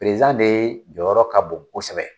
Perezidan de jɔyɔrɔ ka bon kosɛbɛ.